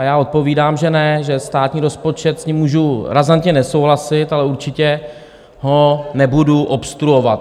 A já odpovídám, že ne, že státní rozpočet, s ním můžu razantně nesouhlasit, ale určitě ho nebudu obstruovat.